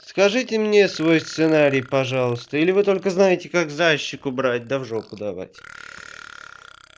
скажите мне свой сценарий пожалуйста или вы только знаете как зайчик убрать да в жопу давать